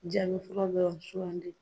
Ja bɛ fura dɔrɔn sugandi.